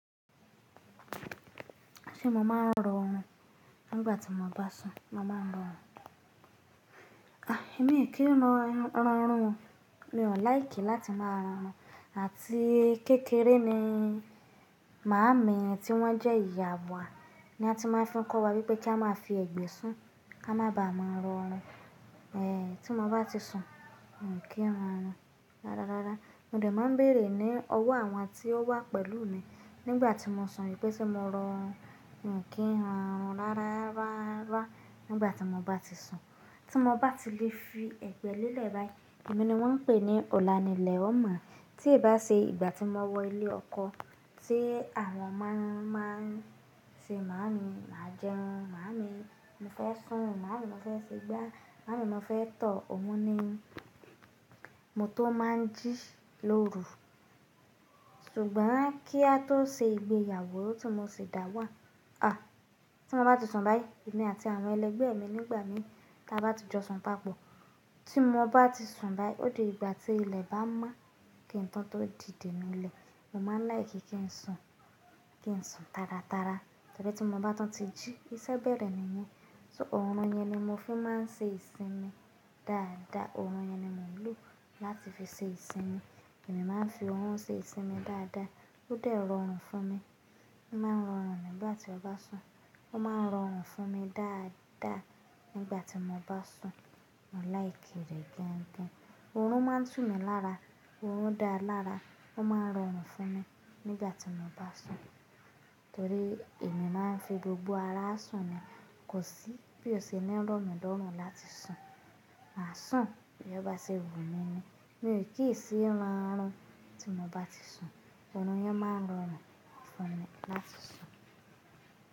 Ṣé mo máa ń rorùn nígbà tí mo bá sùn? Ma máa ń rọrùn. A! Èmi ò kí ń rọrùn, mi ò laiki láti máa rọrùn àti kékeré ni màámi tí wọ́n jẹ́ ìyà wa ni wom ti máa ń fi kọ́ wa wípé kí a máa fi ẹ̀gbẹ́ sùn, kí a má ba à máa rọrùn. Eh tí mo bá ti sùn, mi ò kí ń rọrùn rárárárá. Mo dè máa ń bèrè ní ọwọ́ àwọn tí ó wà pẹ̀lú mi nígbà tí mo sùn wípé se mo rọrùn, mi ò kí ń rọrùn rárárárárá nígbà tí mo bá ti sùn. Tí mo bá ti lè fi ẹ̀gbẹ́ lélẹ̀ báyìí, èmi ni wọ́n ń pè ní ọ̀lanilẹ̀ọ́mọ. Tí ì bá ṣe ìgbà tí mo wọ ilé ọkọ, tí àwọn ọmọ máa ń ṣe, màámi máa jẹun, màámi mo fẹ́ sùn, màámi mo fẹ́ se igbá, màámi mo fẹ́ tọ́, òun ni mo tó máa ń jí lóru. Ṣùgbọ́n kí a tó ṣe ìgbéyàwó tí mo sì dà wà, a! Tí mo bá ti sùn báyìí, èmi àti àwọn ẹlẹgbẹ́ mi nígbà mí tí a bá ti jọ sùn papọ̀, tí mo bá ti sùn báyìí ó di ìgbà tí ilẹ̀ bá mọ́ kí n tun tó dì dé ni le. Mo máa ń laiki kí n sùn, kí n sùn tàràtàrà torí tí mo bá tun tí jí iṣẹ́ bẹ̀rẹ̀ nìyẹn. Òórùn yẹn ni mo fi máa ń ṣe ìsinmi dáadáa. Òórùn yẹn ni mò ń lò láti fi ṣe ìsinmi. Èmi máa ń fi òórùn ṣe ìsinmi dáadáa. Ó dẹ̀ rọrùn fún mi. O máa ń rọrùn nígbà tí mo bá sùn. Ó máa ń rọrùn fún mi dáadáa nígbà tí mo bá sùn. Mo laiki rẹ̀ gangan. Òórùn máa ń tú mi lára, òórùn dá lára. Ó máa ń rọrùn fún mi nígbà tí mo bá sùn torí èmi máa ń fi gbogbo ara sùn ni, kò sí bí o ṣe ní ro mi lọ́rùn láti sùn. Màá sùn bí o bá ṣe wù mí ni. Èmi ò kí ń ṣì rọrùn tí mo bá ti sùn. Òórùn yẹn máa ń rọrùn fún mi láti sùn.